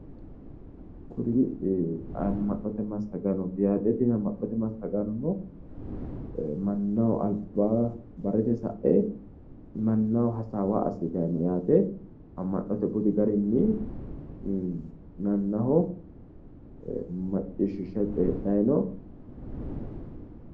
Kuri amma'note massagannoti yaate tini amma'note massagaano mannaho alba barete sae mannaho hasaawa assitanni no yaate amma'note budi garinni mannaho macciishishay coyiidhay no